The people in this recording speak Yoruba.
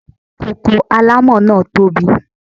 Koko alámọ̀ náà tó bi.